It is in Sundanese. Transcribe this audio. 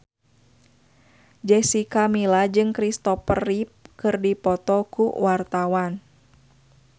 Jessica Milla jeung Kristopher Reeve keur dipoto ku wartawan